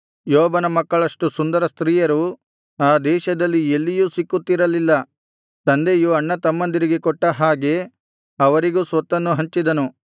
ಯೋಬನ ಮಕ್ಕಳಷ್ಟು ಸುಂದರಸ್ತ್ರೀಯರು ಆ ದೇಶದಲ್ಲಿ ಎಲ್ಲಿಯೂ ಸಿಕ್ಕುತ್ತಿರಲಿಲ್ಲ ತಂದೆಯು ಅಣ್ಣತಮ್ಮಂದಿರಿಗೆ ಕೊಟ್ಟ ಹಾಗೆ ಅವರಿಗೂ ಸ್ವತ್ತನ್ನು ಹಂಚಿದನು